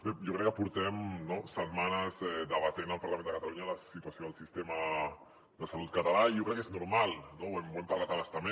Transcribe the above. bé jo crec que portem setmanes debatent al parlament de catalunya la situació del sistema de salut català i jo crec que és normal no ho hem parlat a bastament